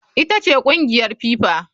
Ita ce kungiyar FIFA.